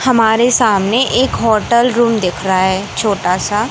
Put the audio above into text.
हमारे सामने एक होटल रूम दिख रहा है छोटा सा--